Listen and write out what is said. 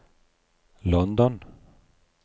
London